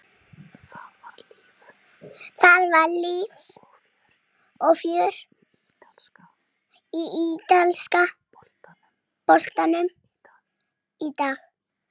Það var líf og fjör í ítalska boltanum í dag.